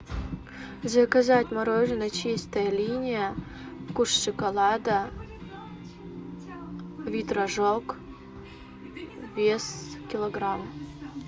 заказать мороженое чистая линия вкус шоколада вид рожок вес килограмм